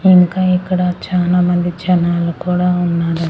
ఇంకా ఇక్కడ చానా మంది జనాలు కూడా ఉన్నారు.